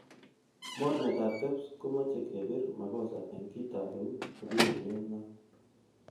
Mornetab Kebs komoche kebir makosa en kitab eut nekipimonen maat.